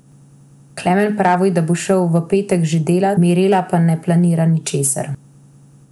Klemen pravi, da bo šel v petek že delat, Mirela pa ne planira ničesar.